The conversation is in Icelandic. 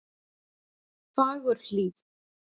Fagurhlíð